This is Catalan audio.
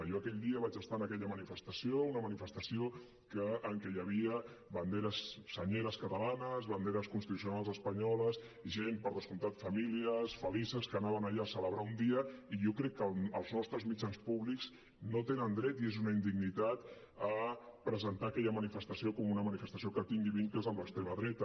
jo aquell dia vaig estar en aquella manifestació una manifestació en què hi havia senyeres catalanes banderes constitucionals espanyoles gent per descomptat famílies felices que anaven allà a celebrar un dia i jo crec que els nostres mitjans públics no tenen dret i és una indignitat a presentar aquella manifestació com una manifestació que tingui vincles amb l’extrema dreta